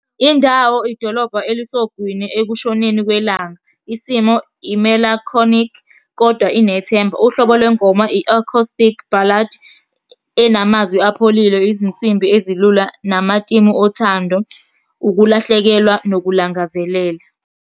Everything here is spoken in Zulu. Indawo idolobha elisogwini ekushoneni kwelanga. Isimo imelakhonikhi, kodwa inethemba. Uhlobo lwengoma i-acoustic ballad, enamazwi apholile, izinsimbi ezilula, namatimu othando, ukulahlekelwa nokulangazelela.